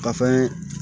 Ka fɛn